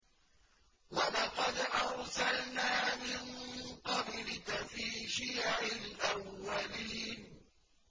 وَلَقَدْ أَرْسَلْنَا مِن قَبْلِكَ فِي شِيَعِ الْأَوَّلِينَ